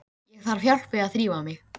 Á Suðurgötu að kvöldi annars í nýári.